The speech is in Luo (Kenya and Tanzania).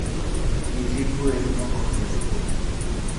Nyithi gwen okohero koko